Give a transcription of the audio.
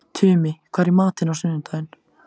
Tumi, hvað er í matinn á sunnudaginn?